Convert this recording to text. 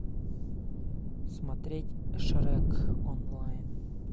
смотреть шрек онлайн